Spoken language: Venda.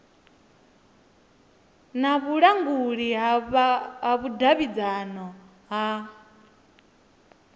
na vhulanguli ha vhudavhidzano ha